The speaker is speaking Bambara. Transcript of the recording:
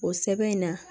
O sɛbɛn in na